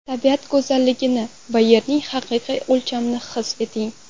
Tabiat go‘zalligini va Yerning haqiqiy o‘lchamini his eting.